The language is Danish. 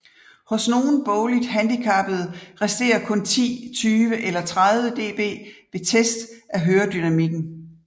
Hos nogle bogligt handicappede resterer kun ti tyve eller tredive dB ved test af høredynamikken